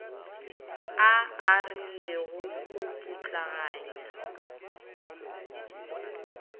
a a rilego go putlaganya